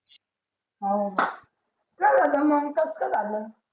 हाव काय झालं मंग कस काय झालं